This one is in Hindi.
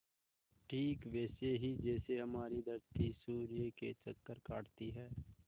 ठीक वैसे ही जैसे हमारी धरती सूर्य के चक्कर काटती है